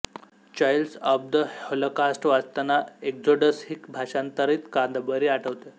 child of the Holocaust वाचताना Exodus ही भाषांतरित कादंबरी आठवते